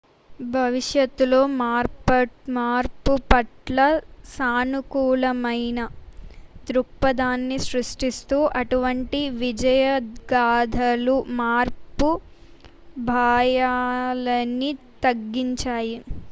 భవిష్యత్తులో మార్పుపట్ల సానుకూలమైన దృక్పధాన్ని సృష్టిస్తూ అటువంటి విజయగాథలు మార్పు భాయాలని తగ్గించాయి